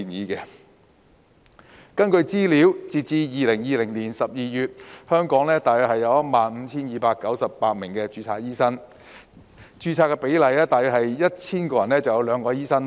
根據資料，截至2020年12月，香港大約有 15,298 名註冊醫生，人均註冊醫生比例大約是每 1,000 人只有兩名醫生。